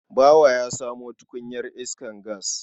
Bawa ya samo tukunyar iskar gas.